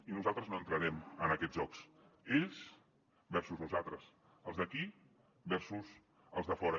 i nosaltres no entrarem en aquests jocs ells versus nosaltres els d’aquí sus els de fora